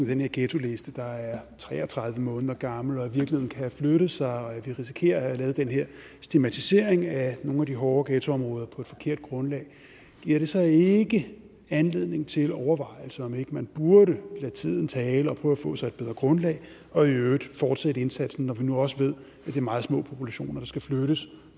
den her ghettoliste der er tre og tredive måneder gammel og at virkeligheden kan flytte sig og at vi risikerer at have lavet den her stigmatisering af nogle af de hårde ghettoområder på et forkert grundlag giver det så ikke anledning til overvejelser om om ikke man burde lade tiden tale og prøve at få sig et bedre grundlag og i øvrigt fortsætte indsatsen og når vi nu også ved at det er meget små populationer der skal flyttes